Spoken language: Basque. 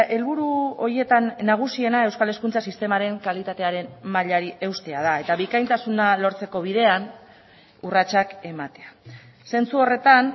helburu horietan nagusiena euskal hezkuntza sistemaren kalitatearen mailari eustea da eta bikaintasuna lortzeko bidean urratsak ematea zentzu horretan